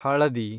ಹಳದಿ